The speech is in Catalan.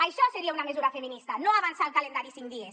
això seria una mesura feminista no avançar el calendari cinc dies